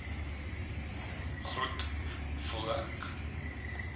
groet voel ek